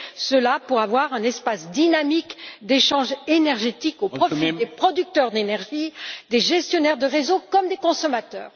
Cela permettra d'avoir un espace dynamique d'échanges énergétiques au profit des producteurs d'énergie, des gestionnaires de réseaux comme des consommateurs.